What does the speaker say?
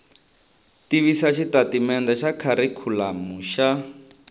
tivisa xitatimendhe xa kharikhulamu xa